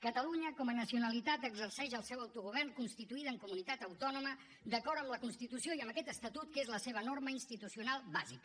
catalunya com a nacionalitat exerceix el seu autogovern constituïda en comunitat autònoma d’acord amb la constitució i amb aquest estatut que és la seva norma institucional bàsica